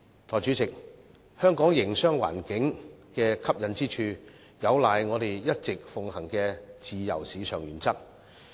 代理主席，香港營商環境的吸引之處有賴我們一直奉行的自由市場原則。